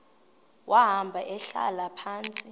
wahamba ehlala phantsi